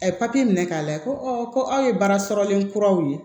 A ye minɛ k'a lajɛ ko ko aw ye baara sɔrɔlen kuraw ye